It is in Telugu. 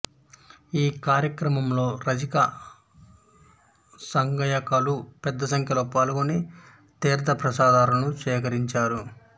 ఈ కార్యక్రమంలో రజక సంఘీయులు పెద్దసంఖ్యలో పాల్గొని తీర్ధప్రసాదాలను స్వీకరించారు